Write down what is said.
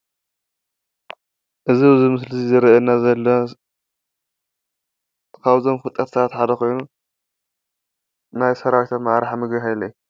እዚ ኣብዚ ምስሊ ዝረኣየና ዘሎ ካብቶም ፍሉጣት ሰባት ሓደ ኮይኑ፣ ናይ ሰራዊትኣመራርሓ ምግበይ ሃይለ እዩ።